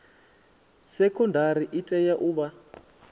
sekondari i tea u vha